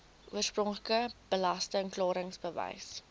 oorspronklike belasting klaringsbewys